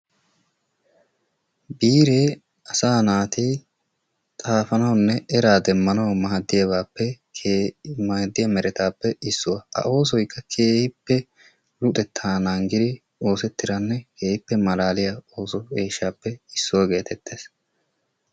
Biiree asa naati xaafanawunne eraa demmanaw maaddiyaa meretappe issuwa. A oosoykka keehippe luxetta naggidi oosetiddanne keehippe malaaliyaa ooso eeshshappe issuwaa getettees.